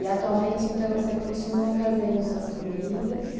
E atualmente, então, você continua fazendo suas comidas?